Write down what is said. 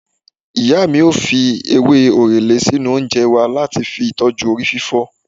Ìyá mi ó fi ewé orele sínú oúnjẹ wa láti fi tọju orí fífọ́